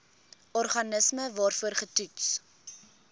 organisme waarvoor getoets